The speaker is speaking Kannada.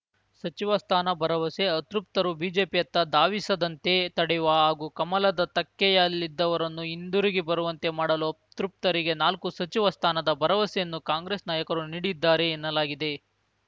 ಸಚಿವ ಸ್ಥಾನ ಭರವಸೆ ಅತೃಪ್ತರು ಬಿಜೆಪಿಯತ್ತ ಧಾವಿಸದಂತೆ ತಡೆಯುವ ಹಾಗೂ ಕಮಲದ ತೆಕ್ಕೆಯಲ್ಲಿದ್ದವರನ್ನು ಹಿಂದುರುಗಿ ಬರುವಂತೆ ಮಾಡಲು ಅತೃಪ್ತರಿಗೆ ನಾಲ್ಕು ಸಚಿವ ಸ್ಥಾನದ ಭರವಸೆಯನ್ನು ಕಾಂಗ್ರೆಸ್‌ ನಾಯಕರು ನೀಡಿದ್ದಾರೆ ಎನ್ನಲಾಗಿದೆ